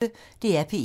DR P1